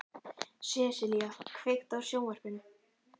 Sessilía, kveiktu á sjónvarpinu.